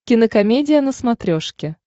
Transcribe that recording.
кинокомедия на смотрешке